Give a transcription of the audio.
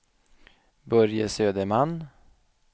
Börje Söderman